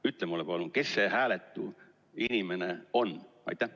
Ütle mulle palun, kes see hääletu inimene on!